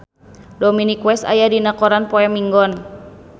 Dominic West aya dina koran poe Minggon